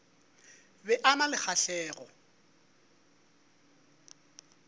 be a na le kgahlego